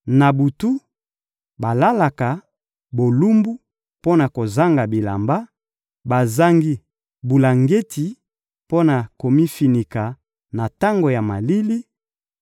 Na butu, balalaka bolumbu mpo na kozanga bilamba, bazangi bulangeti mpo na komifinika na tango ya malili;